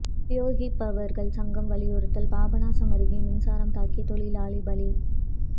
உபயோகிப்பாளர்கள் சங்கம் வலியுறுத்தல் பாபநாசம் அருகே மின்சாரம் தாக்கி தொழிலாளி பலி